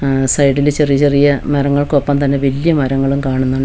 സൈഡിൽ ചെറിയ ചെറിയ മരങ്ങൾക്കൊപ്പം തന്നെ വല്ല്യ മരങ്ങളും കാണുന്നു--